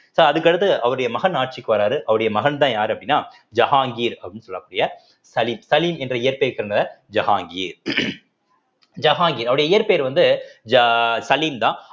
so அதுக்கடுத்து அவருடைய மகன் ஆட்சிக்கு வர்றாரு அவருடைய மகன்தான் யாரு அப்படின்னா ஜஹாங்கீர் அப்படின்னு சொல்லக்கூடிய சலீம் சலீம் என்ற இயற்கை சேர்ந்தவர் ஜஹாங்கீர் ஜஹாங்கீர் அவருடைய இயற்பெயர் வந்து ஜ~ சலீம்தான்